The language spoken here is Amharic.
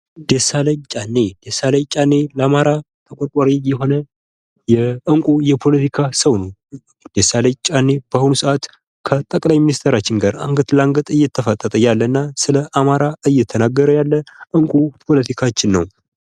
ደሳለኝ ጫኔ ለአማራ ተቆርቋሪ የሆነ እንቁ የሆነ የፖለቲካ ሰው ነው። ደሳለኝ ጫኔ በአሁኑ ሰዓት ከ ጠቅላይ ሚኒስተራችን ጋር አንገት ለአንገት እየተፋጠጠ ያለ እና ስለ አማራ እየተናገረ ያለ አልኩ ፖለቲካችን ነው።